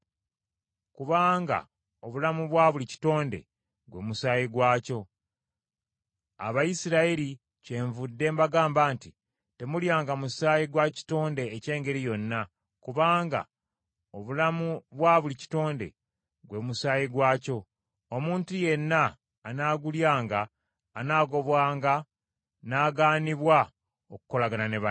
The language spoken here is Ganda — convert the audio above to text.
kubanga obulamu bwa buli kitonde gwe musaayi gwakyo. Abayisirayiri kyenvudde mbagamba nti temulyanga musaayi gwa kitonde eky’engeri yonna, kubanga obulamu bwa buli kitonde gwe musaayi gwakyo, omuntu yenna anaagulyanga anaagobwanga n’agaanibwa okukolagana ne banne.